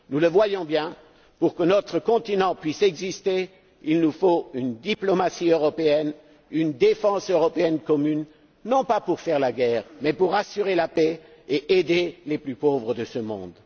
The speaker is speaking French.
Nous le voyons bien pour que notre continent puisse exister, il nous faut une diplomatie européenne, une défense européenne commune, non pas pour faire la guerre mais pour assurer la paix et aider les plus pauvres de ce monde.